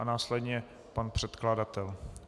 A následně pan předkladatel.